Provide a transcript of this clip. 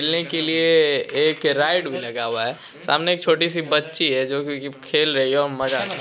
खेलने के लिए एक राइड भी लगा हुआ है सामने एक छोटी-सी बच्ची है जो की खेल रही है और मजा --